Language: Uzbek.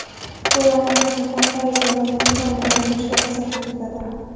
Bu, ayniqsa, fantaziya va nutqni rivojlanishiga ta’sir ko‘rsatadi.